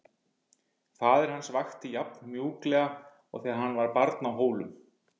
Faðir hans vakti hann jafn mjúklega og þegar hann var barn á Hólum.